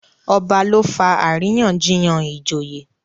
ọba ló fà àríyànjiyàn ìjòyè.